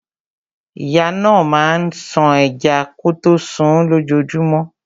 Ìyá náà máa ń ṣan ẹja kọtó sunún lójojúmọ́.